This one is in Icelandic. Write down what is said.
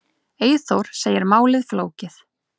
Eyþór segir málið flókið.